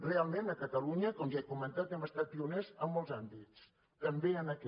realment a catalunya com ja he comentat hem estat pioners en molts àmbits també en aquest